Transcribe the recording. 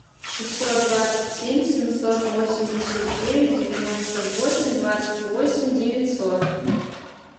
шестьсот двадцать семь семьсот восемьдесят девять девяносто восемь двадцать восемь девятьсот